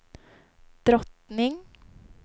drottning